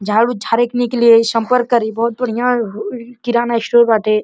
झाड़ू झारने के लिए संपर्क करी। बहुत बढ़िया किराना स्टोर बाटे।